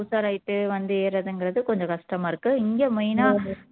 உஷார் ஆயிட்டு வந்து ஏறுறதுங்குறது கொஞ்சம் கஷ்டமா இருக்கு இங்க main ஆ